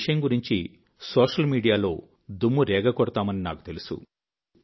ఈ విషయం గురించి సోషల్ మీడియాలో దుమ్ము రేగగొడతామని నాకు తెలుసు